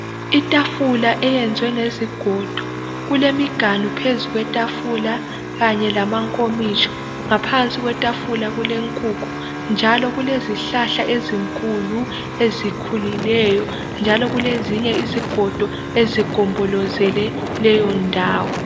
Itafula eyenzwe ngezigodo, kulemiganu phezu kwetafula kanye lamankomitsho. Ngaphansi kwetafula kulenkukhu, njalo kulezihlahla ezinkulu eIkhulileyo, njalo kulezinye izigodo ezigombolezele leyo njawo..